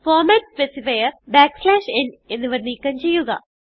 format specifier n എന്നിവ നീക്കം ചെയ്യുക